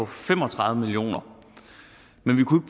fem og tredive million kroner af men vi kunne